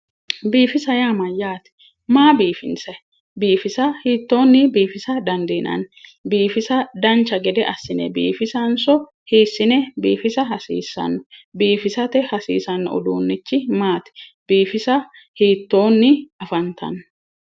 rBiiffisa yaa mayaate maa biiffinsanni biiffisa hitoonni biiffinsanni dandiinanni biiffisa dancha gede assinenso hiitoonni afantanno